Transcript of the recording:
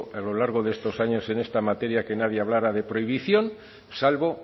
a lo largo de estos años en esta materia que nadie hablara de prohibición salvo